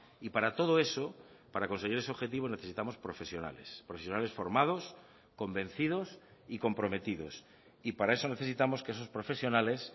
y para todo eso para conseguir ese objetivo necesitamos profesionales profesionales formados convencidos y comprometidos y para eso necesitamos que esos profesionales